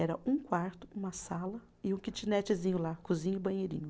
Era um quarto, uma sala e um kitnetzinho lá, cozinha e banheirinho.